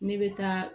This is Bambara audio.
Ne bɛ taa